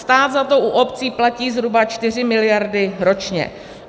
Stát za to u obcí platí zhruba čtyři miliardy ročně.